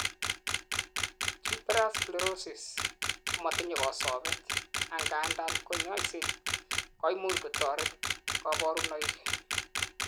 tuberous sclerosis kometinyei kosobet, angandan kanyoiset koimuch kotoret kaborunoik